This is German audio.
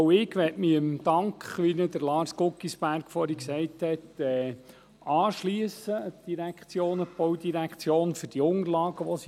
Auch ich möchte mich dem Dank an die BVE für die vorbereiteten Unterlagen, wie er von Lars Guggisberg erwähnt wurde, anschliessen.